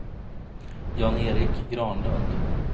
Jan-Erik Granlund